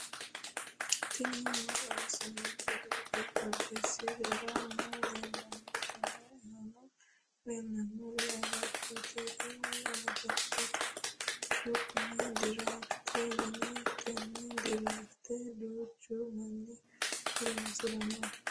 tini maa xawissanno misileeti? qooxeessisera may leellanno? tenne aana leellannori agattote tini agattote su'mi diraaftete yinanni tenne diraafte duuchu manni horoonsiranno.